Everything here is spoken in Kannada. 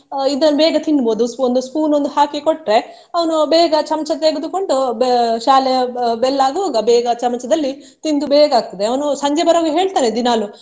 ಅಹ್ ಇದ್ನ ಬೇಗ ತಿನ್ನಬಹುದು ಒಂದು spoon ಒಂದು ಹಾಕಿ ಕೊಟ್ರೆ ಅವ್ನು ಬೇಗ ಚಮಚ ತೆಗೆದುಕೊಂಡು ಬೆ~ ಶಾಲೆ be~ bell ಆಗುವಾಗ ಬೇಗ ಚಮಚದಲ್ಲಿ ತಿಂದು ಬೇಗ ಆಗುತ್ತದೆ ಅವ್ನು ಸಂಜೆ ಬರುವಾಗ ಹೇಳ್ತಾನೆ ದಿನಾಲೂ